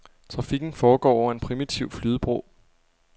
Trafikken foregår over en primitiv flydebro.